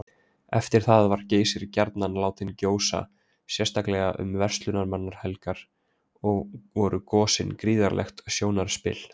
Eftir það var Geysir gjarnan látinn gjósa, sérstaklega um verslunarmannahelgar, og voru gosin gríðarlegt sjónarspil.